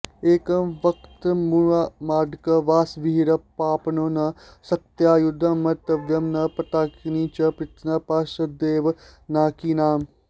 एकं वक्त्रमुमाङ्कवासविरहः पाणौ न शक्त्यायुधं मर्त्यत्वं न पताकिनी च पृतना पार्श्वद्वये नाकिनाम्